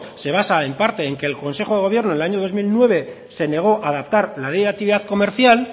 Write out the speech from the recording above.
se basa en parte en que el consejo de gobierno el año dos mil nueve se negó a adaptar la ley de actividad comercial